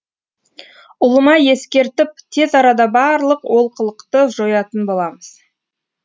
ұлыма ескертіп тез арада барлық олқылықты жоятын боламыз